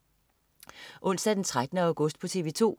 Onsdag den 13. august - TV 2: